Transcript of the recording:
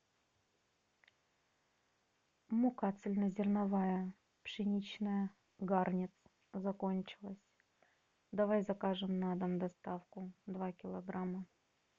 мука цельно зерновая пшеничная гарнер закончилась давай закажем на дом доставку два килограмма